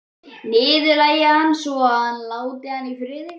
Niðurlægja hann svo að hann láti hana í friði.